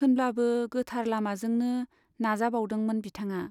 होनब्लाबो गोथार लामाजोंनो नाजाबावदोंमोन बिथांआ।